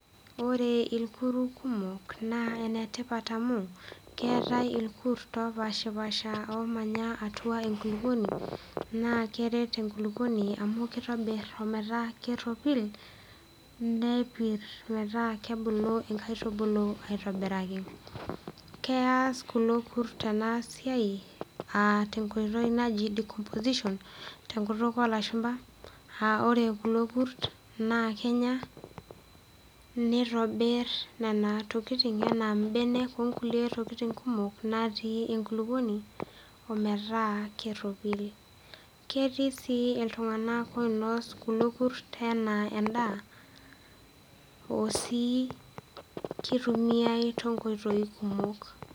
Ore irkuruk kumok naa ene tipat amu keetai irkut opaashipaasha oomanya atua enkulukoni naa keret enkulukoni amu kitobir o metaa keropil nepir metaa kebulu inkaitubulu aitobiraki. Keas kulo kurt ena siai aa te nkoitoi naji decomposition tenkutuk oo lashumba aa ore kulo kurt naa kenya, nitobir nena tokitin enaa mbenek oo nkukie tokitin kumok natii enkulukoni o metaa keropil. Ketii sii iltung'anak oinos kulo kurt enaa endaa oo sii kitumiai too nkoitoi kumok.